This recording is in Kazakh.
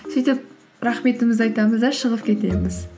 сөйтіп рахметімізді айтамыз да шығып кетеміз